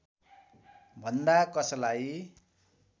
भन्दा कसलाई